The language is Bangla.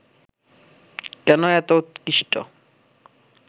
কেন এত উৎকৃষ্ট